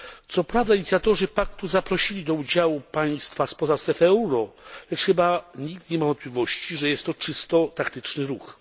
Co prawda, inicjatorzy paktu zaprosili do udziału państwa spoza strefy euro, lecz chyba nikt nie ma wątpliwości, że jest to czysto taktyczny ruch.